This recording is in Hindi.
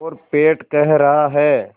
और पेट कह रहा है